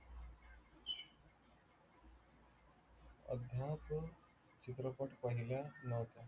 अभ्यास चित्रपट पहिला नव्हता.